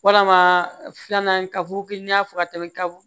Walama filanan kaburu kelen n'a fɔ ka tɛmɛ kabugu